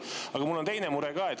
Aga mul on teine mure ka.